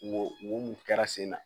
Wo mun kɛra sen na